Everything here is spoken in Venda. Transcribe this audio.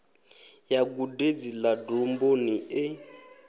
ya gudedzi ḽa domboni e